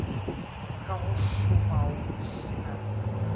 ka go šomao se na